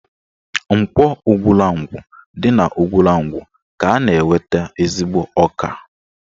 Nkwọ Ugwulangwu dị n'Ugwulangwu ka a na-enweta ezigbo ọka